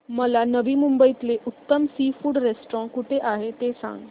मला नवी मुंबईतलं उत्तम सी फूड रेस्टोरंट कुठे आहे ते सांग